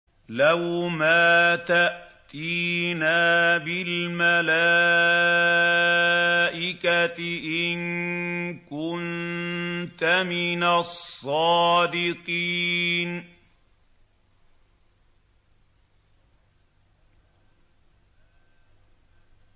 لَّوْ مَا تَأْتِينَا بِالْمَلَائِكَةِ إِن كُنتَ مِنَ الصَّادِقِينَ